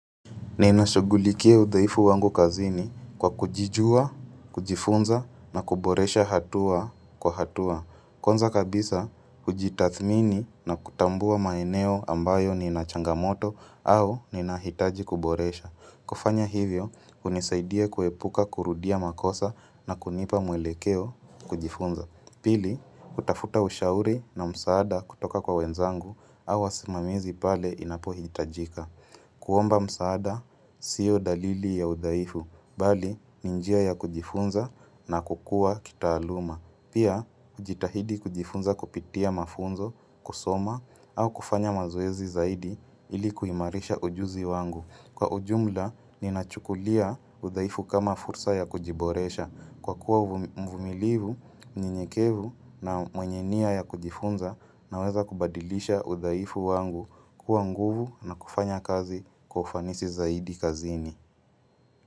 Ninashughulikia udhaifu wangu kazini kwa kujijua, kujifunza na kuboresha hatua kwa hatua. Kwanza kabisa, hujitathmini na kutambua maeneo ambayo ninachangamoto au ninahitaji kuboresha. Kufanya hivyo, hunisaidia kuepuka kurudia makosa na kunipa mwelekeo kujifunza. Pili, kutafuta ushauri na msaada kutoka kwa wenzangu au wasimamizi pale inapohitajika. Kuomba msaada sio dalili ya udhaifu, bali ni njia ya kujifunza na kukuwa kitaaluma. Pia, kujitahidi kujifunza kupitia mafunzo, kusoma au kufanya mazoezi zaidi ili kuimarisha ujuzi wangu. Kwa ujumla, ninachukulia udhaifu kama fursa ya kujiboresha, kwa kuwa mvumilivu, myenyekevu na mwenye niya ya kujifunza naweza kubadilisha udhaifu wangu kuwa nguvu na kufanya kazi kwa ufanisi zaidi kazini.